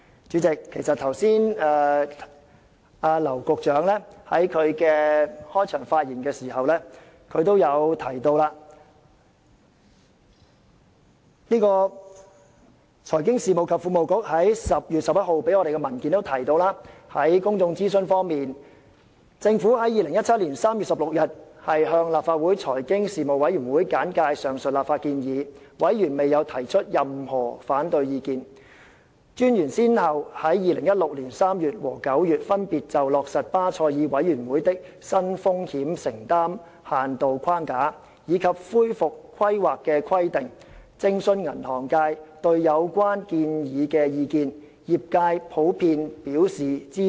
主席，劉局長剛才在他的開場發言時已經提到，財經事務及庫務局在10月11日提交我們的文件也提到，在公眾諮詢方面，政府在2017年3月16日向立法會財經事務委員會簡介上述立法建議，而委員未有提出任何反對意見。專員先後在2016年3月和9月，分別就落實巴塞爾委員會的新風險承擔限度框架，以及恢復規劃的規定，徵詢銀行界對有關建議的意見，而業界普遍表示支持。